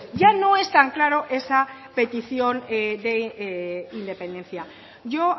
ya no es tan claro esa petición de independencia yo